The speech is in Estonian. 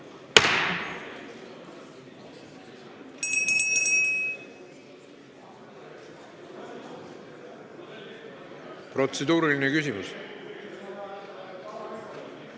Kas protseduuriline küsimus?